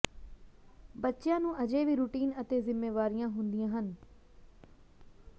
ਬੱਚਿਆਂ ਨੂੰ ਅਜੇ ਵੀ ਰੁਟੀਨ ਅਤੇ ਜ਼ਿੰਮੇਵਾਰੀਆਂ ਹੁੰਦੀਆਂ ਹਨ